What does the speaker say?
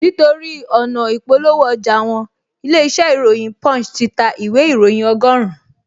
Nítorí ọ̀nà ị̀polówó ọjà wọn, ilé-iṣẹ́ ìròyìn punch ti ta ìwé ìróyìn ọgọ́rùn-un